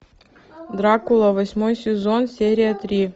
дракула восьмой сезон серия три